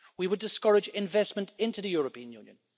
We would discourage investment into the European Union.